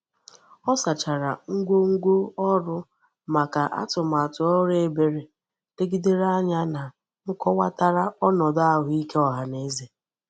o sachara ngwongwo oru maka atumatu oru ebere legidere anya na nkowatara onodu ahuike ohaneze.